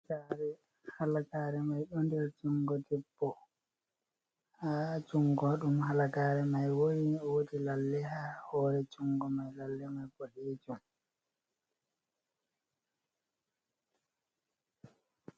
Halagare, halagare mai ɗo nder jungo debbo, ha jungo ɗum halagare mai woni wodi lalle ha hore jungo mai, lalle mai boɗejum.